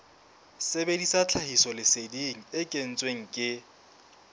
sebedisa tlhahisoleseding e kentsweng ke